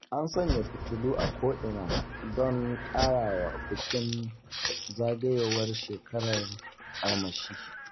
An sanya fitulu a ko'ina don ƙarawa bikin zagayowar shekarar armashi.